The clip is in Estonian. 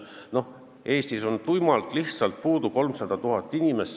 Noh, Eestis on lihtsalt puudu 300 000 inimest.